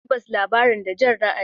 Tabbas, labarin da Jan ra'ayi.